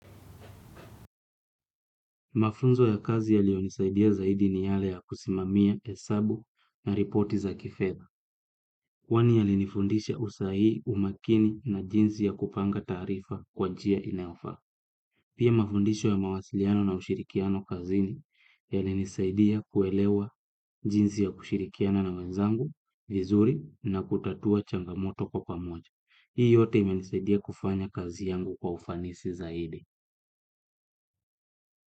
Mafunzo ya kazi yaliyonisaidia zaidi ni yale ya kusimamia hesabu na ripoti za kifedha. Kwani yalinifundisha usahihi, umakini na jinsi ya kupanga taarifa kwa njia inayofaa. Pia mafundisho ya mawasiliano na ushirikiano kazini yalinisaidia kuelewa jinsi ya kushirikiana na wenzangu vizuri na kutatua changamoto kwa pamoja. Hii yote imenisaidia kufanya kazi yangu kwa ufanisi zaidi.